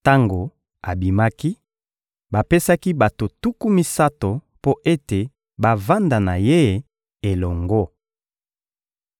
Tango abimaki, bapesaki bato tuku misato mpo ete bavanda na ye elongo.